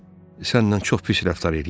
Sənlə çox pis rəftar eləyiblər?